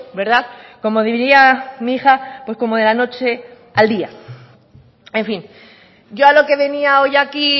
verdad como diría mi hija pues como de la noche al día en fin yo a lo que venía hoy aquí